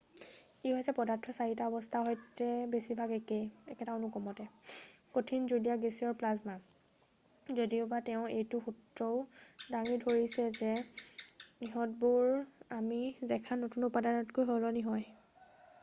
ই হৈছে পদাৰ্থটোৰ 4 টা অৱস্থাৰ সৈতে বেছিভাগ একে একেটা অনুক্ৰমতে: কঠিন জুলীয়া গেছীয় আৰু প্লাজমা যদিওবা তেওঁ এইটো সূত্ৰও দাঙি ধৰিছে যে ইহঁতবোৰ আমি দেখা নতুন উপাদানলৈ সলনি হয়।